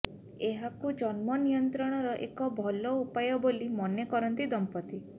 ଏହାକୁ ଜନ୍ମ ନିୟନ୍ତ୍ରଣର ଏକ ଭଲ ଉପାୟ ବୋଲି ମନେ କରନ୍ତି ଦମ୍ପତି